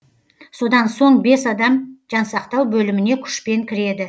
содан соң бес адам жансақтау бөліміне күшпен кіреді